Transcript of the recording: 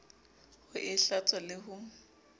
ho e hlatswa le ho